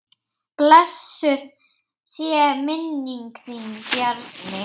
Blessuð sé minning þín Bjarni.